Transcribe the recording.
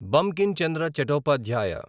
Bankim Chandra Chattopadhyay